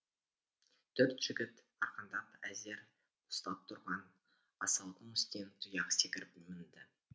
төрт жігіт арқандап әзер ұстап тұрған асаудың үстіне тұяқ секіріп мінді